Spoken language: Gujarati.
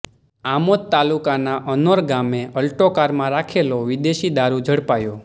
આમોદ તાલુકાના અનોર ગામે અલ્ટો કારમાં રાખેલો વિદેશી દારૂ ઝડપાયો